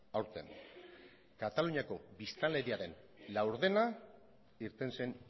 aurten kataluniako biztanleriaren laurdena irten zen